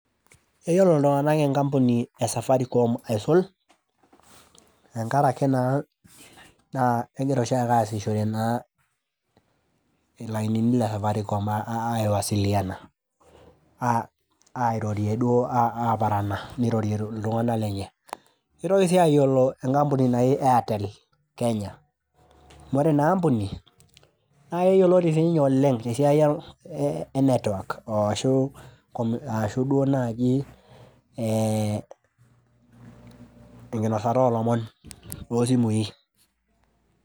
Keyiolo iltunganak enkampuni esafaricom aisul tenkaraki naa ,naa kegira aasishore naa ilainini le safaricom aiwasiliana airorie duo , aparana, nirorie iltunganak lenye . Kitoki sii ayiolo enkampuni naji airtel kenya amu ore ina aampuni naa keyioloti sininye oleng tesiai e network ashu duoo naji ee enkinosata olomon toosimui.